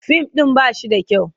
Fim ɗin ba shi da kyau.